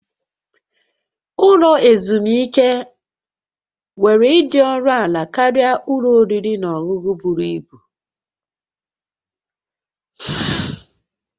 Ụlọ ezumike nwere ịdị ọnụ ala karịa ụlọ oriri na ọṅụṅụ buru ibu